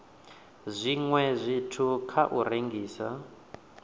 zwiwe zwithu kha u rengisa